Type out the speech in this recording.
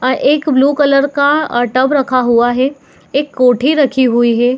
अ एक blue colour का tub रखा हुआ है एक कोठी रखी हुई है।